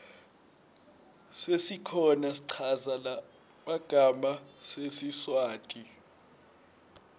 sesikhona schaza magama sesiswati